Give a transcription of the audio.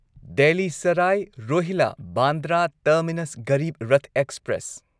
Delhi Sarai Rohilla Bandra terminus Garib Rath express